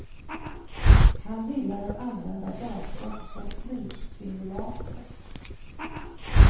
Han gillar att använda datorn som flygsimulator.